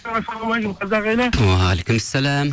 қазақ елі уағалейкумассалям